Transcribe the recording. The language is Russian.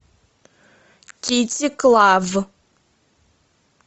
китти клав